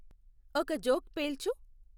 ఒక జోక్ పేల్చు